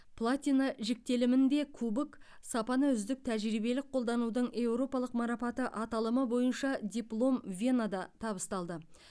платина жіктелімінде кубок сапаны үздік тәжірибелік қолданудың еуропалық марапаты аталымы бойынша диплом венада табысталды